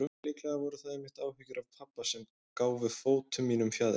Líklega voru það einmitt áhyggjurnar af pabba sem gáfu fótum mínum fjaðrir.